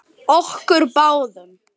Okkur báðum.